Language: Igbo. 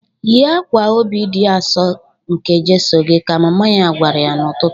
"Yie akwa Obi di Asọ nke Jeso gi!" ka mama ya gwara ya n'ụtụtụ.